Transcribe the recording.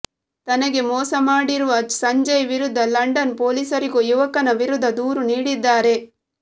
ತನಗೆ ಮೋಸ ಮಾಡಿರುವ ಸಂಜಯ್ ವಿರುದ್ಧ ಲಂಡನ್ ಪೊಲೀಸರಿಗೂ ಯುವಕನ ವಿರುದ್ಧ ದೂರು ನೀಡಿದ್ದಾರೆ